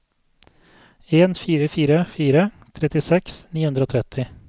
en fire fire fire trettiseks ni hundre og tretti